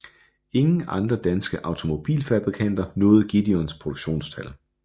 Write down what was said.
Ingen andre danske automobilfabrikanter nåede Gideons produktionstal